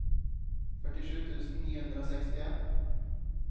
førtisju tusen ni hundre og sekstien